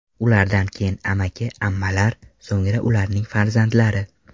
Ulardan keyin amaki-ammalar, so‘ngra ularning farzandlari.